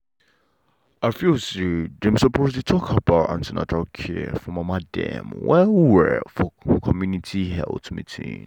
i feel say dem suppose dey talk about an ten atal care for mama dem well well for community health meeting.